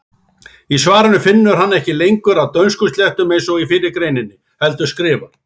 Í svarinu finnur hann ekki lengur að dönskuslettum eins og í fyrri greininni heldur skrifar: